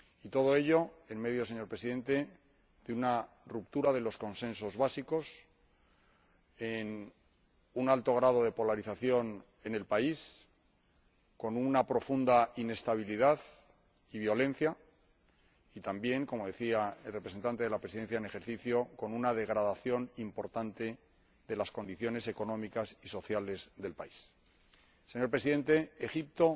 Todo ello, en medio, señor Presidente, de una ruptura de los consensos básicos, con un alto grado de polarización en el país, con una profunda inestabilidad y violencia y también, como decía el representante de la Presidencia en ejercicio del Consejo, con una degradación importante de las condiciones económicas y sociales del país. Señor Presidente, Egipto